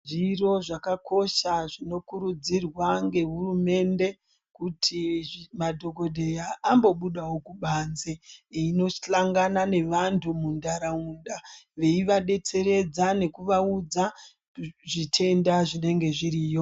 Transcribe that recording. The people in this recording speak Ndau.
Zviro zvakakosha zvinokurudzirwa nge hurumende, kuti madhokodheya ambobudawo kubanze eindohlangana nevanthu muntaraunda, veivadetseredza nekuvaudza zvitenda zvinenge zviriyo.